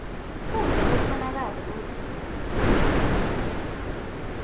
kute kukhonakale kutsi